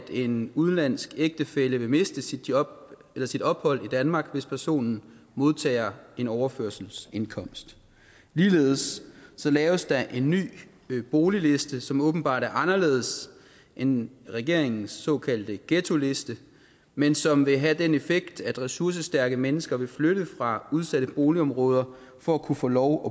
en udenlandsk ægtefælle vil miste sit ophold sit ophold i danmark hvis personen modtager en overførselsindkomst ligeledes laves der en ny boligliste som åbenbart er anderledes end regeringens såkaldte ghettoliste men som vil have den effekt at ressourcestærke mennesker vil flytte fra udsatte boligområder for at kunne få lov